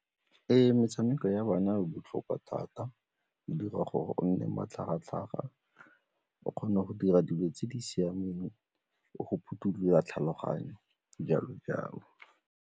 Ee, metshameko ya bana botlhokwa thata go dira gore o nne matlhagatlhaga o kgona go dira dilo tse di siameng le go phothulola tlhaloganyo, jalo-jalo.